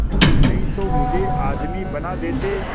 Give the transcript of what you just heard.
नहीं तो मुझे आदमी बना देते